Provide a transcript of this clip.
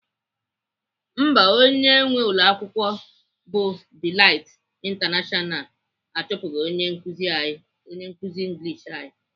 Mba, onye nwee ụlọakwụkwọ bụ Delight International achụpụghị onye nkuzi English anyị.